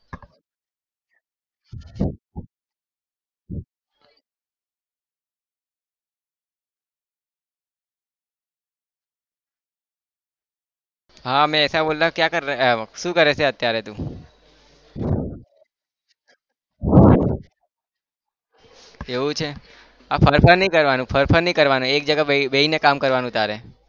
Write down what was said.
હા में ऐसा बोल रहा हु क्या कर रहा? શું કરે છે અત્યારે તું? એવું છે? આ ફર ફર નહિ કરવાનું ફર ફર નહિ કરવાનું એક जगह બેસીને કામ કરવાનું તારે.